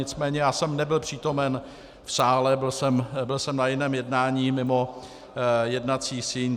Nicméně já jsem nebyl přítomen v sále, byl jsem na jiném jednání mimo jednací síň.